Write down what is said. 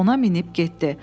Ona minib getdi.